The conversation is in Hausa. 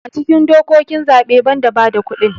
a cikin dokokin zaɓe ban da bada kudin